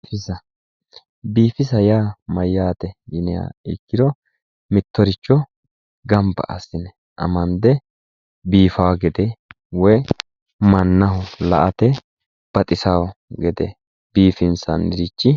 Biifisa yaa mayate yinniha ikkiro mittoricho gamba assine amande biifawo gede woyi la"ate baxisano gede biifinsannirichi.